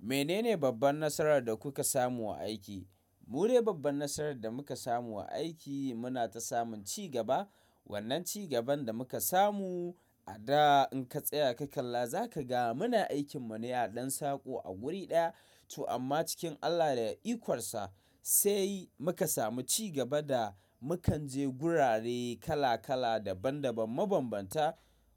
Menene babban nasarar da kuka samu a aiki? Mu ne babban nasarar da muka samu a aiki muna ta samun cigaba. Wannan ci gaban da muka samu a da in ka tsaya ka kalla za ka ga muna aikin mu ne a ɗan saƙo a wuri ɗaya. To amma cikin Allah da ikonsa sai muka samu cigaba da mukanje gurare kala kala daban daban mabambanta.